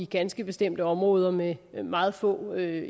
ganske bestemte områder med meget få